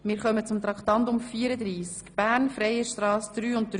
Wir kommen zu Traktandum 34.